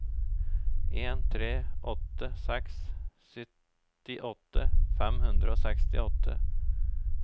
en tre åtte seks syttiåtte fem hundre og sekstiåtte